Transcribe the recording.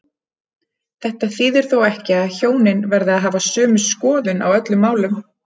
Þetta þýðir þó ekki að hjónin verði að hafa sömu skoðun á öllum málum.